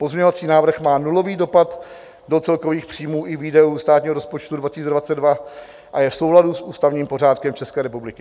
Pozměňovací návrh má nulový dopad do celkových příjmů i výdajů státního rozpočtu 2022 a je v souladu s ústavním pořádkem České republiky.